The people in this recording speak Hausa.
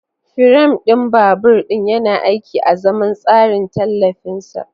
Firam ɗin babur ɗin yana aiki azaman tsarin tallafin sa.